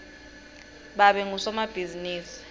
babe ngusomabhizimisi